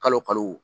Kalo kalo